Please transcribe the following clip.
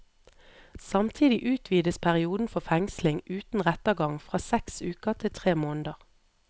Samtidig utvides perioden for fengsling uten rettergang fra seks uker til tre måneder.